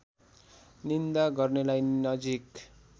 निन्दा गर्नेलाई नजिक